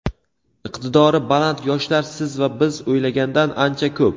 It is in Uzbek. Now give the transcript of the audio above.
iqtidori baland yoshlar siz va biz o‘ylagandan ancha ko‘p.